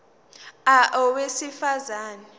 a owesifaz ane